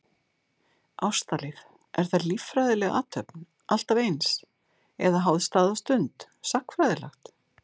Ástalíf, er það líffræðileg athöfn alltaf eins, eða háð stað og stund, sagnfræðilegt?